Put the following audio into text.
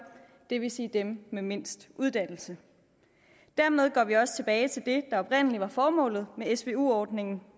det vil sige dem med mindst uddannelse dermed går vi også tilbage til det der oprindelig var formålet med svu ordningen